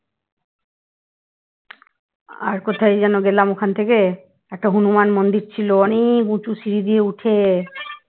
আর কোথায় যেন গেলাম ওখান থেকে, একটা হনুমান মন্দির ছিল অনেক উঁচু সিঁড়ি দিয়ে উঠে